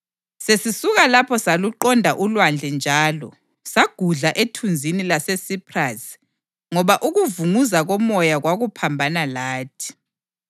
Sesisuka lapho saluqonda ulwandle njalo sagudla ethunzini laseSiphrasi ngoba ukuvunguza komoya kwakuphambana lathi.